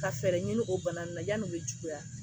Ka fɛɛrɛ ɲini o bana ninnu na yani u bɛ juguya